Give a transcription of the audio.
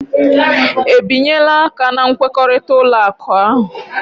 Ebinyela aka na nkwekọrịta ụlọ akụ ahụ?